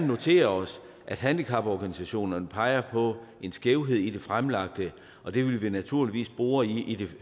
noterer os at handicaporganisationerne peger på en skævhed i det fremlagte og det vil vi naturligvis bore i i det